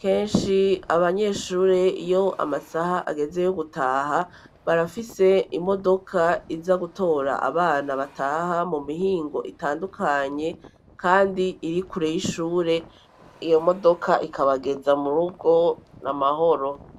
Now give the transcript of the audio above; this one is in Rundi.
kenshi abanyeshure iyo amasaha ageze yo gutaha, barafise imodoka iza gutora abana bataha mu mihingo itandukanye, kandi iri kure y'ishure, iyo modoka ikabageza mu rugo amahoro.